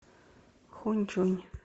хуньчунь